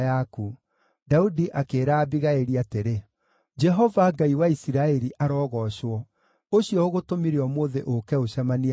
Daudi akĩĩra Abigaili atĩrĩ, “Jehova, Ngai wa Isiraeli, arogoocwo, ũcio ũgũtũmire ũmũthĩ ũũke ũcemanie na niĩ.